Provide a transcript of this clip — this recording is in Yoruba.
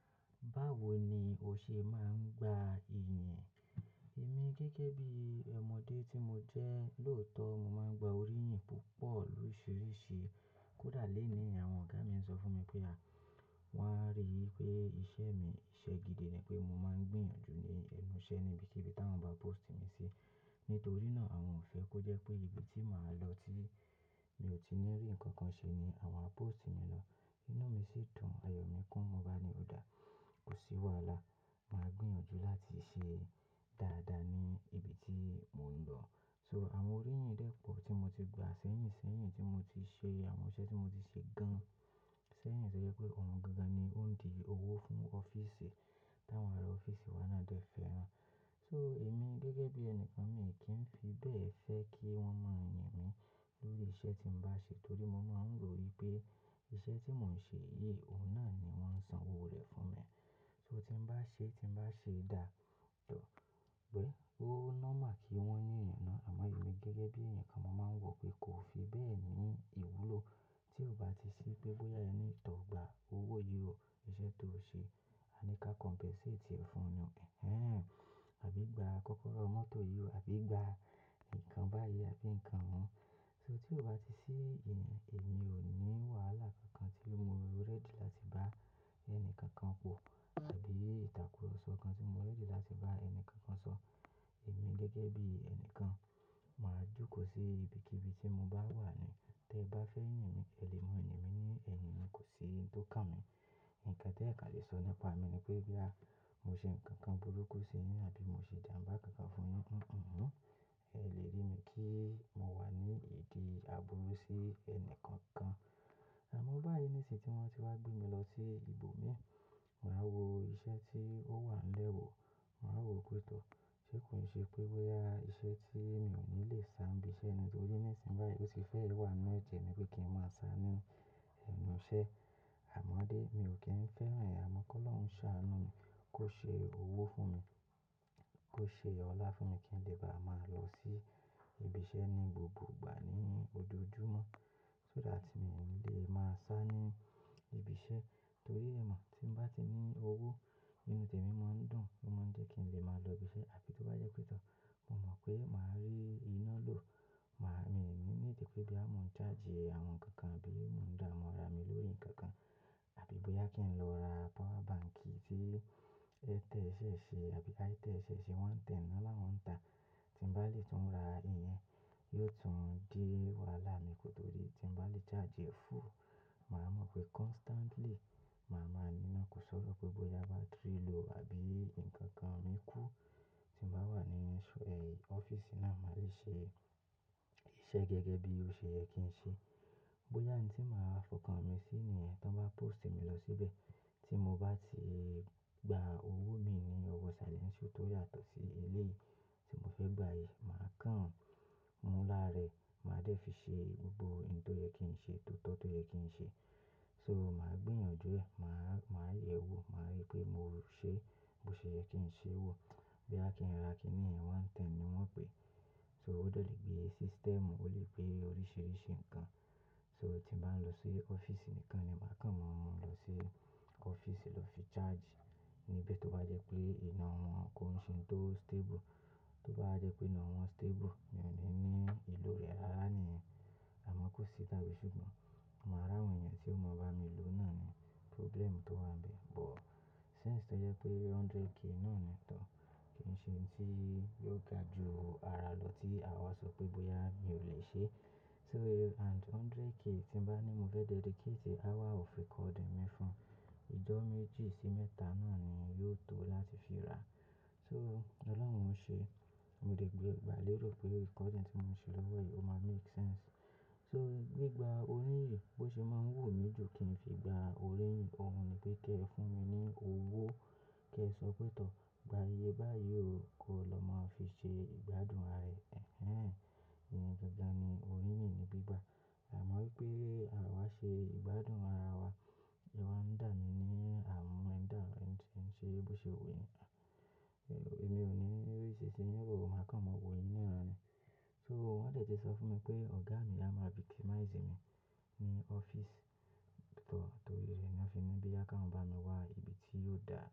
Báwo ni o ṣe máa ń gba ìyìn? Èmi gẹ́gẹ́ bí ọmọdé tí mo jẹ́, lóòótọ́ mo máa ń gba oríyìn púpọ̀ oríṣiríṣi. Kódà lenìí àwọn ọ̀gá mi ń sọ fún mi pé a, wọ́n á rí i pé iṣẹ́ mi, iṣẹ́ gidi ni pé mo máa ń gbìyànjú ní ẹnu iṣẹ́ níbi tí, tí wọ́n bá post mi sí. Nítorí náà àwọn ò fẹ́ kó jẹ́ pé ibi tí màá lọ tí mi ò tí ì ní rí nǹkan kan ṣe ni àwọn á post mi lọ. Inú mi sì dùn, àyò mi kún, mo bá ni ó dá, kò sí wàhálà. Màá gbìyànjú láti ṣe dáadáa ní ibi tí mò ń lọ. So àwọn oríyìn dẹ́pọ̀ tí mo ti gba, sẹ́yìn sẹ́yìn tí mo ti ṣe àwọn iṣẹ́ tí mo ti ṣe gan. Sẹ́yìn sẹ́yìn tó jẹ́ pé ohun gíga ni ó ń di owó fún ọ́fíìsì, táwọn ará ọ́fíìsì wa náà dẹ fẹ́ran. So èmi gẹ́gẹ́ bí ẹni kan mi kì í fi bẹ́ẹ̀ fẹ́ jẹ kí wọ́n máa yàn mí lórí iṣẹ́ tí ń bá ṣe torí mo máa ń rò wípé iṣẹ́ tí mò ń ṣe yìí, òun náà ni wón ń san owó rẹ̀ fún mi. So tí ń bá ṣe, tí ń bá ṣe dáa, dọ̀, pé ó nọ́mà kí wọ́n yàn náà. Àmọ́ èmi gẹ́gẹ́ bí èèyàn kan, mo máa ń wọ̀ pé kò fi bẹ́ẹ̀ ní ìwúlò tí ó bá ti ṣí pé bóyá ẹ ni ìtọ̀ gba owó yóò, iṣẹ́ tó ṣe, a ní ká compensate rẹ̀ fún ni. Ẹ̀hẹ́n. Àbí gba kọ́kọ́rọ́ mọ́tò yóò, àbí gba nǹkan báyìí, àbí nǹkan wọ́n. So tí ó bá ti ṣí, èmi ò ní wàhálà kankan tí mo ready láti bá ẹni kankan wọ̀ àbí ìtàkurọ̀sọ kan tí mo ready láti bá ẹni kankan sọ. Èmi gẹ́gẹ́ bí ẹni kan, màá jókòó sí ibikíbi tí mo bá wà ní. Tẹ bá fẹ́ yàn mi, ẹ lè mú ẹ̀mí mí ní ẹ̀mí, kò sí ohun tó kàn mi. Nǹkan tí ẹ̀ ka lè sọ nípa mi ni pé boyà mo ṣe nǹkan burúkú sí yín àbí mo ṣe jàmbá kankan fún yín. Kò kọ̀, ẹ lè rí mi kí mo wà ní ìdí àbúrú sí ẹni kankan. Àmọ́ báyìí nísinsìnyí tí wọ́n ti wá gbé mi lọ sí ibòmí, màá wo iṣẹ́ tí ó wà lẹ́wọ̀, màá wo pé tọ́. Ṣé kò ṣe pé bóyá iṣẹ́ tí mi ò ní lè sá níbi iṣẹ́ ni torí nísinsìnyí báyìí ó ti fẹ́ wà ninú ẹ̀jẹ̀ ni pé kí n máa sá á ní ẹnu iṣẹ́. Àmọ́dé mi ò kí ń fẹ́ rẹ̀, àmọ́ kí Ọlọ́run ṣá á nù mí kó ṣe owó fún mi, kó ṣe ọlá fún mi kí n lè bá máa lọ sí ibi iṣẹ́ ní gbogbo ìgbà ní ojojúmọ́. Ko dá tí mi ò lè máa sá á ní ibi iṣẹ́ torí ẹ̀ mọ̀ tí n bá ti ní owó inú tèmi máa ń dùn, ó má ń jẹ́ kí n lè máa lọ ibi iṣẹ́. Àbí tó bá jẹ́ pé tọ́, mo mọ̀ pé màá rí iná lò. Màá, mi ò ní lè jẹ pé boya mo ń charge àwọn nnkan kan bí mò ń dáamu ara mi lórí nǹkan kan, àbí bóyá kí n lọ ra power bank tí ẹ tẹ̀ẹ́ ṣẹ̀ ṣe àbí a tẹ̀ẹ́ ṣẹ̀ ṣe, 110 náà wọ́n ń tà. Tí mo bá lè tún ra ìyẹn, yóò tún din wàhálà mi kótóri tí mo bá lè charge full, màá mọ̀ pé constantly màá máa ní iná. Kò sọ́rọ̀ pé bóyá battery low àbí nǹkan kan mi kú tí mo bá wà ní ọ́fíìsì náà, màá lè ṣe iṣẹ́ gẹ́gẹ́ bí ó ṣe yẹ kí n ṣe. Bóyá ohun tí màá fọkàn mi sí nìyẹn tí wọ́n bá post mi lọ síbẹ̀, tí mo bá ti gba owó mi ní ọwọ́ salary tí ó yàtọ̀ sí eléyìí tí mo fẹ́ gba yìí, màá kàn mú lára rẹ̀, màá dẹ́ fi ṣe gbogbo ohun tó yẹ kí n ṣe, tótọ́ tó yẹ kí n ṣe. So màá gbìyànjú ẹ̀, màá, màá yẹ̀ ẹ́ wò, màá rí pé mò ń ṣe bó ṣe yẹ kí n ṣe wò. Boya kí n ra kíní 110 ni wọ́n ń pè é. So ó dọ̀lẹ̀ gbé e system, ó lè gbé oríṣiríṣi nǹkan. So tí mo bá lọ sí ọ́fíìsì nìkan ni màá kàn mú ọmọ mi lọ sí ọ́fíìsì lọ fi charge níbi tí ó bá jẹ́ pé iná wọn kò ń ṣe nǹkan tó stable. Tó bá jẹ́ pé iná wọn stable, mi ò ní ní ìlò rẹ̀. Rárá níyẹn. Àmọ́ kó sì tàbí sì kò, màá rà àwọn ẹ̀yàn tí ó mọ̀ bá mi lò náà ni problem tó wà bẹ́ẹ̀. But since tó jẹ́ pé 100k náà ni tọ́ kì ń ṣe ohun tí yóò ga ju ara lọ tí àwa sọ pé bóyá mi ò lè ṣe. So and 100k tí bá ní mo fẹ́ dedicate hour of recording mi fún ìjọ́ méjì sí mẹ́ta náà ni yóò tó láti fi ra. So Ọlọ́run ò ń ṣe, mo lè gba lérò pé recording tí mo ń ṣe lọ́wọ́ yìí ó máa make sense. So gbígba oríyìn bó ṣe máa ń wù mí jù kí n fi gba oríyìn. Ohun ni pé kí ẹ fún mi ní owó, kí ẹ sọ pé tọ́, gba iye báyìí o, kó lọ máa fi ṣe ìgbádùn ara ẹ. Ẹ̀hẹ́n. Ìyẹn gangan ni oríyìn ni gbígba. Àmọ́ wípé àwa ṣe ìgbádùn ara wa, ìwà ń dà mi ní àmúẹ̀dà, ẹ̀ ń ṣe, bó ṣe ò we ni. Èmi ò ní, èyí sì ṣe yín kò máa kàn mọ wòoyí nírọ̀run ni. So wọ́n tètè sọ fún mi pé ọ̀gá mi á máa be victimize mi ní ọ́fíìsì tọ̀. Torí rẹ̀ ni ó fi ní bí à kí wọ́n bá mi wá ibi tí yóò dà mí.